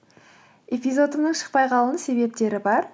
эпизодымның шықпай қалуының себептері бар